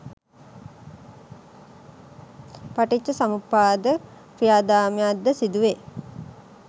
පටිච්චසමුප්පාද ක්‍රියාදාමයන් ද සිදුවේ.